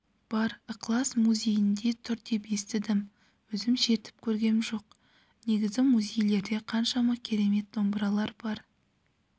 бар ықылас музейінде тұр деп естідім өзім шертіп көргем жоқ негізі музейлерде қаншама керемет домбыралар бар